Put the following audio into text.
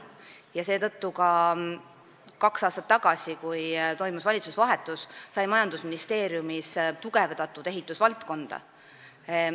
Ja seetõttu kaks aastat tagasi, kui toimus valitsuse vahetus, sai majandusministeeriumis ehitusvaldkonda tugevdatud.